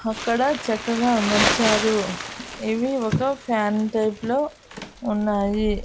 అక్కడ చక్కగా అమర్చారు ఇవి ఒక ఫ్యాన్ టైప్ లో ఉన్నాయి.